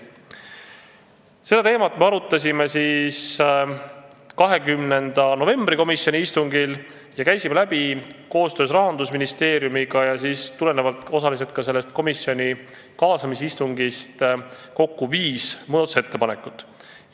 Seda teemat me arutasime komisjoni 20. novembri istungil, kus koostöös Rahandusministeeriumiga ja osaliselt ka tulenevalt kaasamisistungist vaatasime läbi kokku viis muudatusettepanekut.